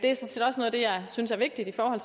det jeg synes er vigtigt i forhold